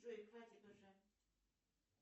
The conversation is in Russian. джой хватит уже